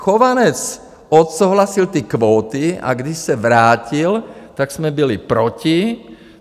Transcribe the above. Chovanec odsouhlasil ty kvóty, a když se vrátil, tak jsme byli proti.